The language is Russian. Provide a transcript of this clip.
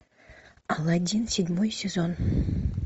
алладин седьмой сезон